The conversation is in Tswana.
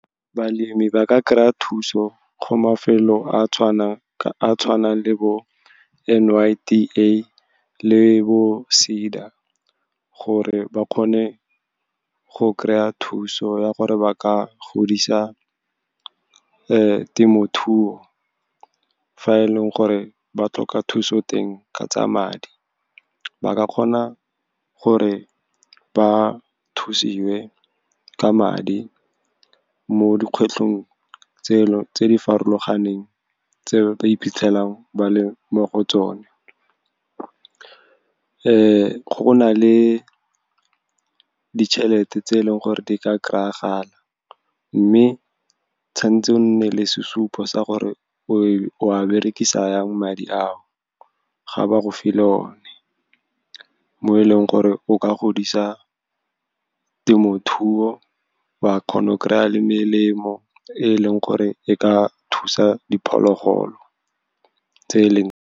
Balemi ba ka kry-a thuso go mafelo a tshwanang le bo N_Y_D_A le bo SEDA, gore ba kgone go kry-a thuso ya gore ba ka godisa temothuo. Fa e leng gore ba tlhoka thuso teng ka tsa madi, ba ka kgona gore ba thusiwe ka madi mo di kgwetlhong tse di farologaneng, tse ba iphitlhelang ba le mo go tsone. Go na le ditšhelete tse e leng gore di ka kry-gala, mme tshwanetse o nne le sesupo sa gore o a berekisa yang madi a o ga ba go file one, mo e leng gore o ka godisa temothuo, wa kgona go kry-a le melemo e e leng gore e ka thusa diphologolo tse .